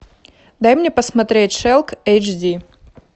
дай мне посмотреть шелк эйч ди